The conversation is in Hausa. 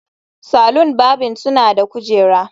Salon barbing suna da kujeru